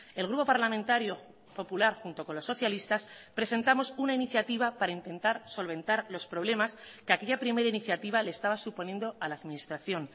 el grupo parlamentario popular junto con los socialistas presentamos una iniciativa para intentar solventar los problemas que aquella primera iniciativa le estaba suponiendo a la administración